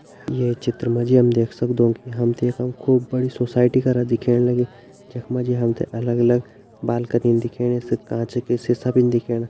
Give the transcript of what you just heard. ये चित्र मा जी हम देख सक्दु की हम तें यखम खूब बड़ी सोसाइटी करा दिखेण लग्युं जख माँ जी हम तें अलग अलग बालकनी दिखेणी कांच का शीशा भी दिखेणा।